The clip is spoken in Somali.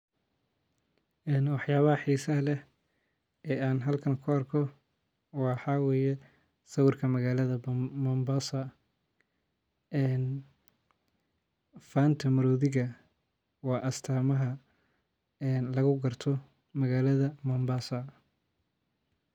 Ee waxyabaha xeesaha leeh ee an halkani ku arkoh, waxawaye sawirka magalada Mombasa ee fanta marothika wa astamaha lagu kartoh magalada Mombasa.